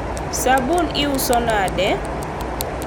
sabun iuso nade?